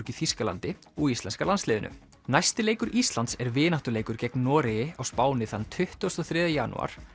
í Þýskalandi og íslenska landsliðinu næsti leikur Íslands er vináttuleikur gegn Noregi á Spáni þann tuttugasta og þriðja janúar